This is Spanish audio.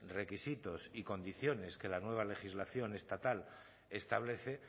requisitos y condiciones que la nueva legislación estatal establece